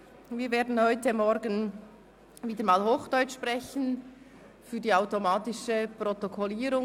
Wir werden heute Morgen Hochdeutsch sprechen für die automatische Protokollierung.